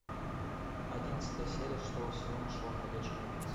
одиннадцатая серия шестого сезона шоу ходячие мертвецы